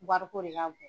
Wariko de ka bon